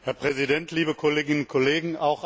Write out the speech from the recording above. Herr Präsident, liebe Kolleginnen und Kollegen!